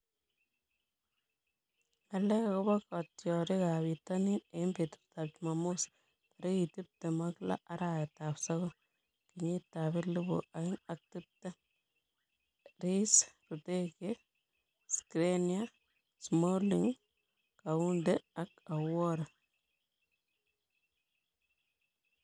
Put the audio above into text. Ng'alek akobo kitiorikab bitonin eng betutab Jumamos tarik tiptem ak lo , arawetab sokol, kenyitab elebu oeng ak tiptem:Rice, Rudiger, Skriniar, Smalling, Kounde, Aouar